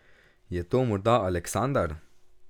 Je to morda Aleksandar?